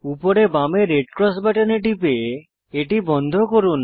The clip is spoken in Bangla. উপরে বামে রেড ক্রস বাটনে টিপে এটি বন্ধ করুন